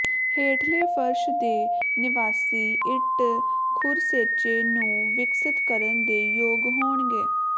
ਹੇਠਲੇ ਫ਼ਰਸ਼ ਦੇ ਨਿਵਾਸੀ ਇੱਟ ਖੁਰਸ਼ੇਚੇ ਨੂੰ ਵਿਕਸਤ ਕਰਨ ਦੇ ਯੋਗ ਹੋਣਗੇ